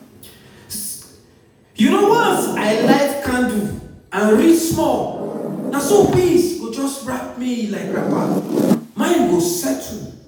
you know once i light candle and read small na so peace go just wrap me like wrapper—mind go settle.